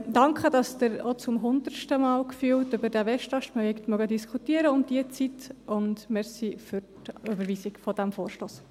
Danke, dass Sie auch – gefühlt zum hundertsten Mal – um diese Zeit noch über den Westast diskutieren, und danke für die Überweisung des Vorstosses.